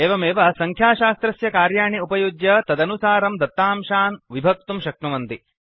एवमेव संख्याशास्त्रस्य कार्याणि उपयुज्य तदनुसारं दतांशान् विभक्तुं शक्नुवन्ति